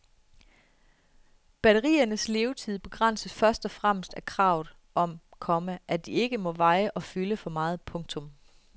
Batteriernes levetid begrænses først og fremmest af kravet om, komma at de ikke må veje og fylde for meget. punktum